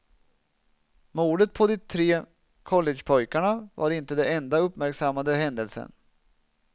Mordet på de tre collegepojkarna var inte den enda uppmärksammade händelsen.